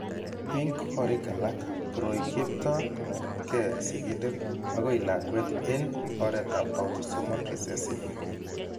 Eng' korik alak ,koroi keipto kong'etke sigindet akoi lakwet eng' oretab autosomal recessive.